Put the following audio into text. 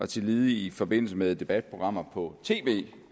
tillige i forbindelse med debatprogrammer på tv